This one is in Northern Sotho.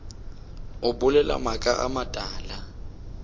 o bolela maaka a matala